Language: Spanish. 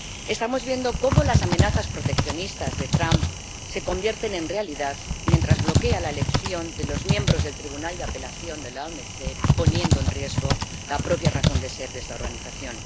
Estamos viendo cómo las amenazas proteccionistas de Trump se convierten en realidad mientras bloquea la elección de los miembros del Órgano de Apelación de la OMC, poniendo en riesgo la propia razón de ser de esta organización.